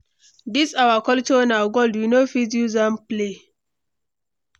This our culture na gold, we no fit use am play.